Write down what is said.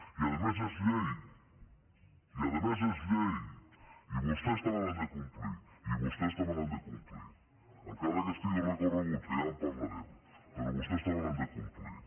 i a més és llei i a més és llei i vostès també l’han de complir i vostès també l’han de complir encara que estigui recorregut que ja en parlarem però vostès també l’han de complir